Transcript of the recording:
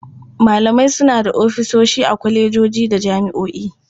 Malamai suna da ofisoshi a kwalejoji da jami'o'i.